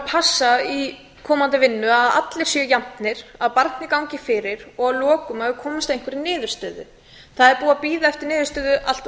passa í komandi vinnu að allir séu jafnir að barnið gangi fyrir og lokum að við komumst að einhverri niðurstöðu það er búið að bíða eftir niðurstöðu allt of lengi og eins og